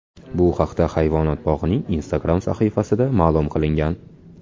Bu haqda hayvonot bog‘ining Instagram sahifasida ma’lum qilingan .